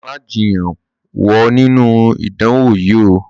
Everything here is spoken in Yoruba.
Má jiyàn wo ninu idánwo yìí ó!